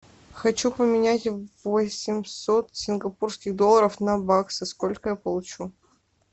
хочу поменять восемьсот сингапурских долларов на баксы сколько я получу